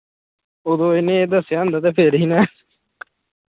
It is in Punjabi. ਓਦੋ ਇਹਨੇ ਇਹ ਦੱਸਿਆ ਹੁੰਦਾ ਤੇ ਫਿਰ ਹੀ ਨਾ